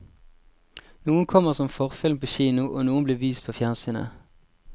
Noen kommer som forfilm på kino, og noen blir vist på fjernsynet.